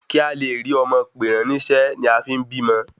Kí a le rí ọmọ pè ran nísé ni a fín bímọ